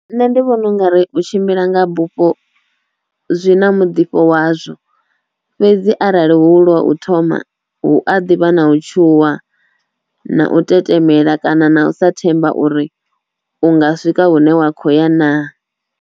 Nṋe ndi vhona u nga ri u tshimbila nga bupho zwi na mudifho wazwo fhedzi arali hu lwa u thoma hu a ḓivha na u tshuwa na u tetemela kana na u sa themba uri u nga swika hune wa kho ya naa.